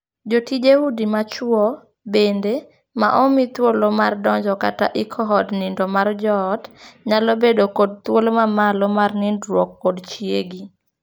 Jotije udi machwo, bende, ma omii thuolo mar donjo kata iko od nindo mar joot nyalo bedo kod thuolo ma malo mar nindruok kod chiegi.